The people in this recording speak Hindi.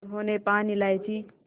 उन्होंने पान इलायची